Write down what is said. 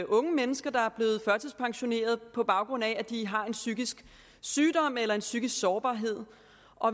unge mennesker der er blevet førtidspensioneret på baggrund af de har en psykisk sygdom eller en psykisk sårbarhed